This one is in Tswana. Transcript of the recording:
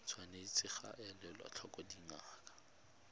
tshwanetse ga elwa tlhoko dinako